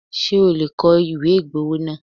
Ṣé o lè kọ ìwé ìgbowó náà?